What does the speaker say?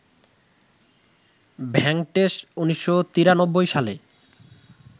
ভেঙ্কটেশ ১৯৯৩ সালে